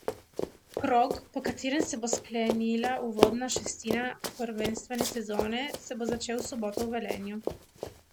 Krog, po katerem se bo sklenila uvodna šestina prvenstvene sezone, se bo začel v soboto v Velenju.